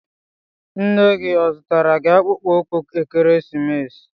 Nne gị ọ zụtara gi akpụkpọ ụkwụ ekeresimesi?